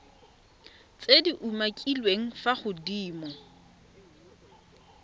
tse di umakiliweng fa godimo